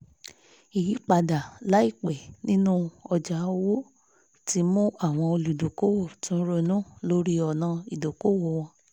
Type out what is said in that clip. ìyípadà laipẹ́ nínú ọjà òwò ti mú àwọn olùdókòwò tún ronú lórí ọ̀nà ìdókòwò wọn